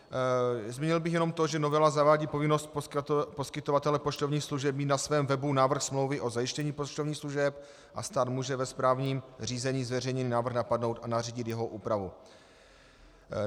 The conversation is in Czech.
Zmínil bych jenom to, že novela zavádí povinnost poskytovatele poštovních služeb mít na svém webu návrh smlouvy o zajištění poštovních služeb a stát může ve správním řízení zveřejněný návrh napadnout a nařídit jeho úpravu.